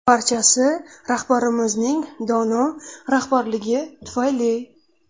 Barchasi rahbarimizning dono rahbarligi tufayli”.